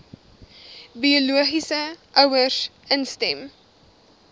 biologiese ouers instem